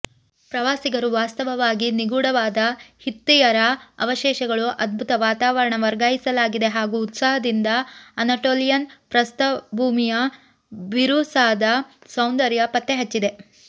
ಪ್ರವಾಸಿಗರು ವಾಸ್ತವವಾಗಿ ನಿಗೂಢವಾದ ಹಿತ್ತಿಯರ ಅವಶೇಷಗಳು ಅದ್ಭುತ ವಾತಾವರಣ ವರ್ಗಾಯಿಸಲಾಗಿದೆ ಹಾಗೂ ಉತ್ಸಾಹದಿಂದ ಅನಟೋಲಿಯನ್ ಪ್ರಸ್ಥಭೂಮಿಯ ಬಿರುಸಾದ ಸೌಂದರ್ಯ ಪತ್ತೆಹಚ್ಚಿದ